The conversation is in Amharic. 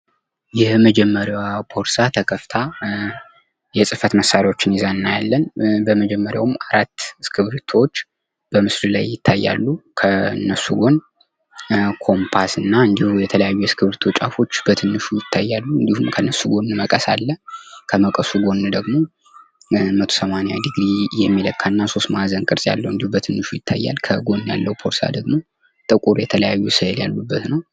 የመጀመሪያዋ ቦርሳ ተከፍታ የፅህፈት መሳሪያዎችን ይዛ እናያለን በመጀመሪያውም 4 እስክሪቢቶዎች በምስሉ ላይ ይታያሉ. ከእነሱ ጎን ኮምፓስና እንዲሁም የተለያዩ የእስክርቢቶ ጫፎች በትንንሹ ይታያሉ. እንዲሁም ከነሱ ጎን መቀስ አለ ከመቀሱ ጎን ደግሞ መቶ ሰማንያ ዲግሪ የሚለካ እና ሦስት ማዕዘን ቅርጽ ያለው በትንንሹ ይታያል ከጎን ያለው ቦርሳ ደግሞ ጥቁር የተለያዩ ስእል ያሉበት ነው ።